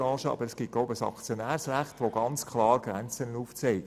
Aber ich glaube, es gibt ein Aktionärsrecht, das die Grenzen klar aufzeigt.